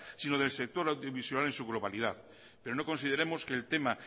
sino del sector audiovisual en su globalidad pero no consideremos que el tema